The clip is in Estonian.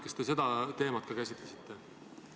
Kas te seda teemat ka käsitlesite?